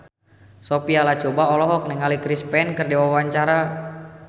Sophia Latjuba olohok ningali Chris Pane keur diwawancara